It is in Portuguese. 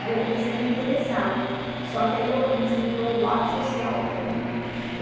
Aí eu comecei a me interessar, só que aí eu comecei ver o lado social também.